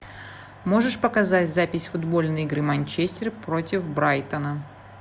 можешь показать запись футбольной игры манчестер против брайтона